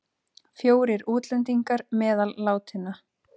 Fjórir útlendingar meðal látinna